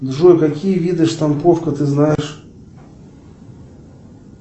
джой какие виды штамповка ты знаешь